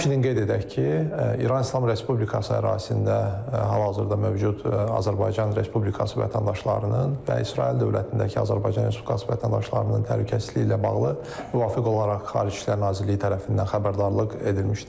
Həmçinin qeyd edək ki, İran İslam Respublikası ərazisində hal-hazırda mövcud Azərbaycan Respublikası vətəndaşlarının və İsrail dövlətindəki Azərbaycan Respublikası vətəndaşlarının təhlükəsizliyi ilə bağlı müvafiq olaraq Xarici İşlər Nazirliyi tərəfindən xəbərdarlıq edilmişdir.